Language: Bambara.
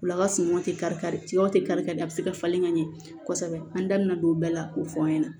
Ula ka sumanw tɛ kari kari sigaw tɛ kari kari a bɛ se ka falen ka ɲɛ kosɛbɛ an da bɛna don o bɛɛ la k'o fɔ an ɲɛna